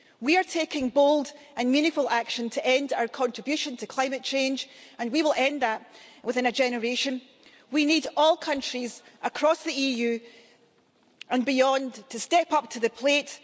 We are taking bold and meaningful action to end our contribution to climate change and we will end that within a generation. We need all countries across the EU and beyond to step up to the plate.